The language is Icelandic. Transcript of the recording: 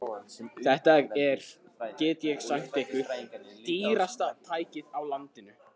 Þetta er, get ég sagt ykkur, dýrasta tækið á landinu.